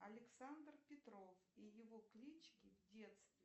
александр петров и его клички в детстве